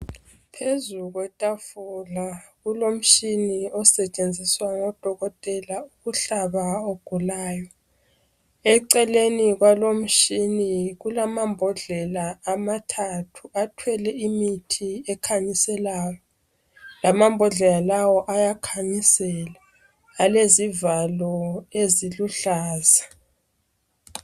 Phezu kwetafula kulomtshina osetshenziswa ngodokotela ukuhlaba ogulayo eceleni kwalomtshina kulamambodlela amathathu athwele imithi ekhanyiselayo lamambodlela lawo ayakhanyisela alezivalo eziluhlaza